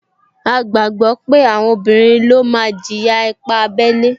A gbàgbọ́ pé àwọn obìnrin ló máa jìyà ipá abẹ́lé